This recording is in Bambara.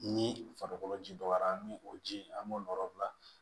Ni farikolo ji dɔgɔyara an bɛ o ji an b'o yɔrɔ bila